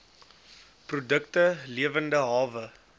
produkte lewende hawe